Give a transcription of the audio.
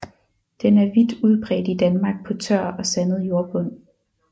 Den er vidt udbredt i Danmark på tør og sandet jordbund